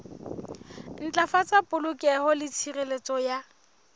ntlafatsa polokeho le tshireletso ya